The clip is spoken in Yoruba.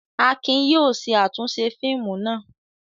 Akin yóò ṣe àtúnṣe fíìmù náà.